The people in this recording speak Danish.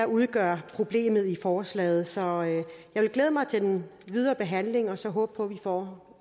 udgør problemet i forslaget så jeg vil glæde mig til den videre behandling og så håbe på at vi får